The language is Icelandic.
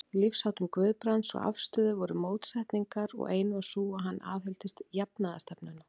Í lífsháttum Guðbrands og afstöðu voru mótsetningar, og ein var sú, að hann aðhylltist jafnaðarstefnuna.